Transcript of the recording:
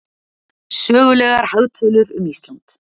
Sögulegar hagtölur um Ísland.